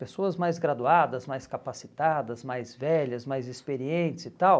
Pessoas mais graduadas, mais capacitadas, mais velhas, mais experientes e tal.